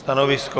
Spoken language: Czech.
Stanovisko?